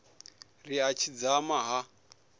ri a tshi dzama ha